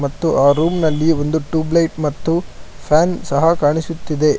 ಮತ್ತು ಆ ರೂಮ್ ನಲ್ಲಿ ಒಂದು ಟ್ಯೂಬ್ ಲೈಟ್ ಮತ್ತು ಫ್ಯಾನ್ ಸಹ ಕಾಣಿಸುತ್ತಿದೆ.